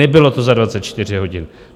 Nebylo to za 24 hodin.